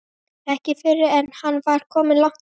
Ekki fyrr en hann var kominn langt í burtu.